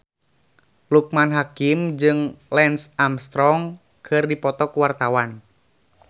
Loekman Hakim jeung Lance Armstrong keur dipoto ku wartawan